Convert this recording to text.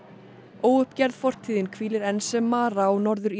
óuppgerð fortíðin hvílir enn sem mara á